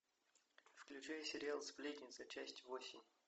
включай сериал сплетницы часть восемь